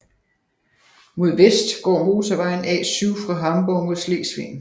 Mod vest går motorvejen A7 fra Hamborg mod Slesvig